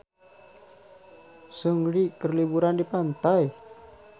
Seungri keur liburan di pantai